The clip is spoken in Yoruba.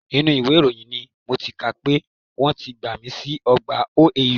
Inú ìwé ìròyìn ni mo ti kà á pé wọ́n ti gbàmi sí ọgbà OAU